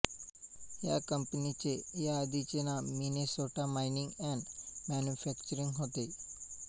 या कंपनीचे याआधीचे नाव मिनेसोटा माइनिंग अँड मॅन्युफॅक्चरिंग होते